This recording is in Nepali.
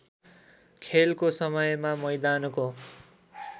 खेलको समयमा मैदानको